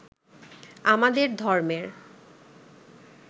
আমাদের ধর্মের